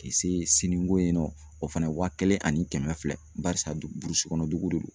K'i se siniko in nɔ o fana waa kelen ani kɛmɛ fila barisa kɔnɔ dugu de do.